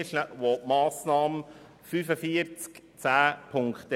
Wir kommen zum Abänderungsantrag 2 und zur Planungserklärung 3.